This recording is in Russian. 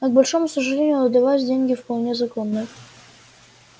но к большому сожалению для вас деньги вполне законные